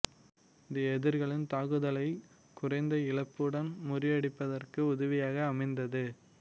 இது எதிரிகளின் தாக்குதல்களைக் குறைந்த இழப்புடன் முறியடிப்பதற்கு உதவியாக அமைந்தது